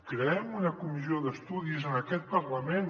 creem una comissió d’estudis en aquest parlament